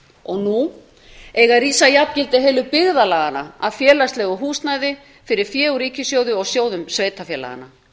og nú eiga að rísa jafngildi heilu byggðarlaganna af félagslegu húsnæði fyrir fé úr ríkissjóði og sjóðum sveitarfélaganna